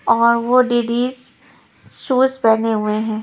और वो दीदीज शूज पहने हुए हैं।